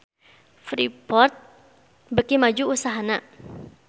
Freeport beuki maju usahana